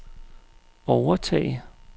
overtage